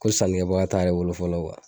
Ko sanikɛbaga t'ale bolo fɔlɔ